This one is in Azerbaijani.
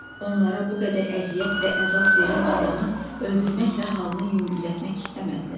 Onlara bu qədər əziyyət və əzab verən adamı öldürməklə halını yüngüllətmək istəmədilər.